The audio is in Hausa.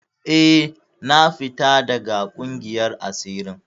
Eh, na fita daga ƙungiyar asirin.